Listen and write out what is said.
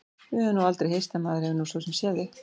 Við höfum nú aldrei hist en maður hefur nú svo sem séð þig.